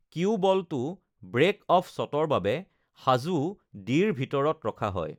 Q বলটো break off শ্বটৰ বাবে সাজু ডিৰ ভিতৰত ৰখা হয়।